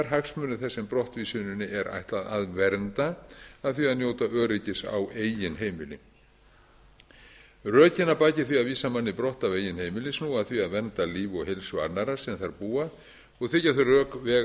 hagsmunir þess sem brottvísuninni er ætlað að vernda af því að njóta öryggis á eigin heimili rökin að baki því að vísa manni brott af eigin heimili snúa að því að vernda líf og heilsu annarra sem þar búa og þykja þau rök vega